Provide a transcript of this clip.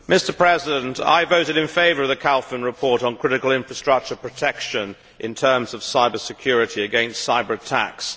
Mr President, I voted in favour of the Kalfin Report on critical infrastructure protection in terms of cyber security against cyber attacks.